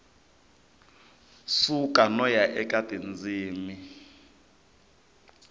suka no ya eka tindzimi